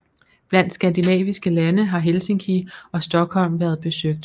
Blandt skandinaviske lande har Helsinki og Stockholm været besøgt